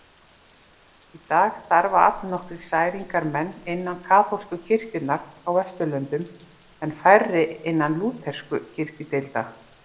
Í dag starfa allnokkrir særingamenn innan kaþólsku kirkjunnar á Vesturlöndum en færri innan lúterskra kirkjudeilda.